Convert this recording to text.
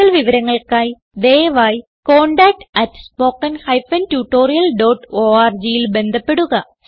കൂടുതൽ വിവരങ്ങൾക്കായി ദയവായി contactspoken tutorialorgൽ ബന്ധപ്പെടുക